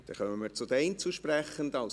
Wir kommen zu den Einzelsprechenden.